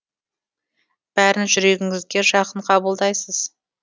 бәрін жүрегіңізге жақын қабылдайсыз